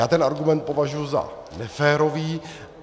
Já ten argument považuji za neférový.